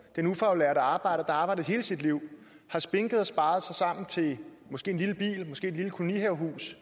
den ufaglærte arbejder arbejdet hele sit liv har spinket og sparet sammen til måske en lille bil måske et lille kolonihavehus